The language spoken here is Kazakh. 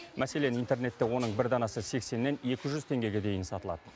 мәселен интернетте оның бір данасы сексеннен екі жүз теңгеге дейін сатылад